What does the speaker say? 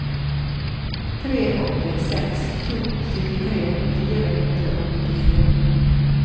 tre åtte seks to syttitre fire hundre og nittifire